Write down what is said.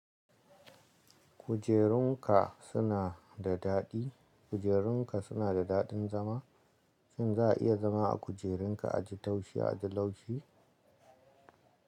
Kujerunka suna da daɗi kujerunka suna da daɗin zama? Shin za a iya zama a kujerunka a ji taushe, a ji laushi?